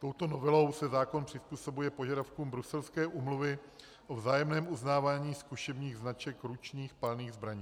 Touto novelou se zákon přizpůsobuje požadavkům bruselské Úmluvy o vzájemném uznávání zkušebních značek ručních palných zbraní.